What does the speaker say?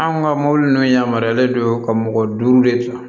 Anw ka mɔbili nunnu yamaruyalen don ka mɔgɔ duuru de ta